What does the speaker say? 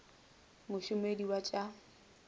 mo somedi wa t sa